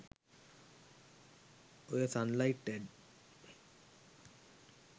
ඔය Sunlight add